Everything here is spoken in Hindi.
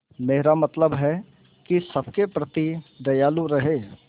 मेरा मतलब है कि सबके प्रति दयालु रहें